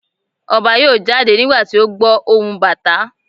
Ọba yọọ jade nígbàtí o gbọ ohún Batà